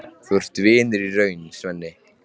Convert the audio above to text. Þú ert vinur í raun, Svenni.